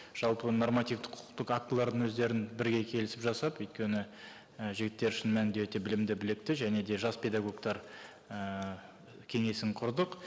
жалпы нормативтік құқықтық актілердің өздерін бірге келісіп жасап өйткені і жігіттер шын мәнінде өте білімді білікті және де жас педагогтар і кеңесін құрдық